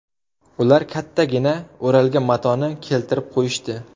Ular kattagina o‘ralgan matoni keltirib qo‘yishdi.